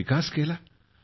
विकास केला तिथं